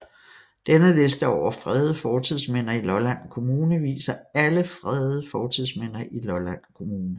Denne liste over fredede fortidsminder i Lolland Kommune viser alle fredede fortidsminder i Lolland Kommune